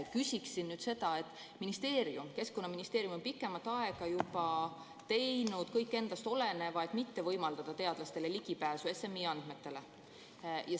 Küsiksin seda, et Keskkonnaministeerium on pikemat aega juba teinud kõik endast oleneva, et mitte võimaldada teadlastele ligipääsu SMI andmetele.